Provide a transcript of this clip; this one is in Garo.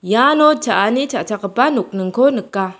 iano cha·ani cha·chakgipa nokningko nika.